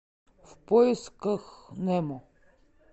в поисках немо